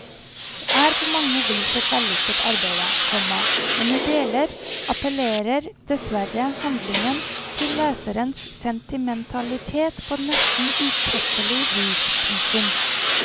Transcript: Det er på mange vis et vellykket arbeide, komma men i deler appellerer dessverre handlingen til leserens sentimentalitet på nesten utekkelig vis. punktum